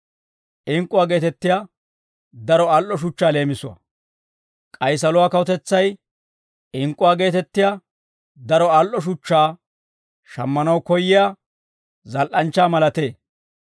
«K'ay saluwaa kawutetsay ink'k'uwaa geetettiyaa daro al"o shuchchaa shammanaw koyyiyaa zal"anchchaa malatee.